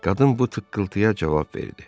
Qadın bu tıqqıltıya cavab verdi.